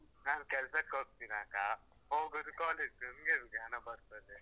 ನಾನ್ ಕೆಲ್ಸಕೋಗ್ತೀನಾ ಅಕ್ಕಾ ಹೋಗುದು ಕಾಲೇಜು, ನಂಗೆ ಹೆಂಗೆ ಹಣ ಬರ್ತದೆ?